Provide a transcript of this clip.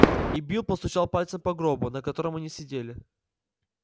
и билл постучал пальцем по гробу на котором они сидели